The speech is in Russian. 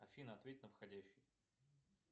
афина ответь на входящий